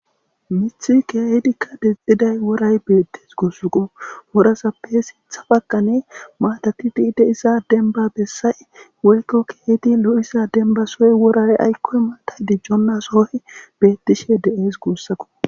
Miththee keehidikka deexxida woray beeththes guusakoo;worazappe sinththa baggani maathathi keehi diza dembba bessay woykko keehidi lo7iza dembba soho wora aykko maathay dicconna sohoy beeththishee de7ees guusakoo.